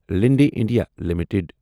Linde India limited